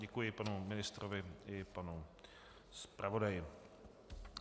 Děkuji panu ministrovi i panu zpravodaji.